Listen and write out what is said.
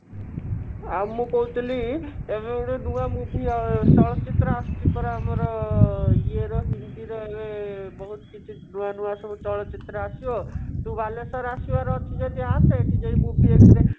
ଆଉ ମୁଁ କହୁଥିଲି ଏବେ ଗୋଟେ ନୂଆ movie ଚଳଚିତ୍ର ଆସୁଛି ପରା ଆମ ଇଏର ହିନ୍ଦୀର ଇଏ ବହୁତ କିଛି ନୂଆ ନୂଆ ଚଳଚିତ୍ର ଆସିବ ତୁ ବାଲେଶ୍ଵର ଆସିବାର ଅଛି ଯଦି ଆସେ ଏଠି ଯାଇ movie